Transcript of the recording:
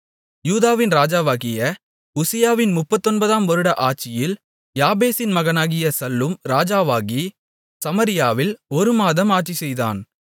யூதாவின் ராஜாவாகிய உசியாவின் முப்பத்தொன்பதாம் வருட ஆட்சியில் யாபேசின் மகனாகிய சல்லூம் ராஜாவாகி சமாரியாவில் ஒரு மாதம் ஆட்சிசெய்தான்